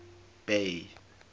bay